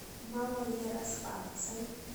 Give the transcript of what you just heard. малоярославцем